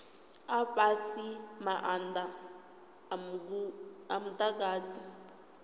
a fhasi maanda a mudagasi